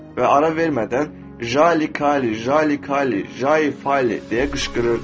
və ara vermədən Jali Kali, Jali Kali, Jali Fali deyə qışqırırdı.